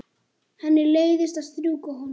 Henni leiðist að strjúka honum.